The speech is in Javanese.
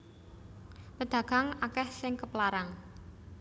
Pedagang akeh sing keplarang